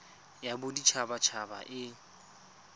ya bodit habat haba e